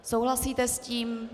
Souhlasíte s tím?